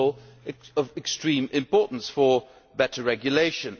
This is all of extreme importance for better regulation.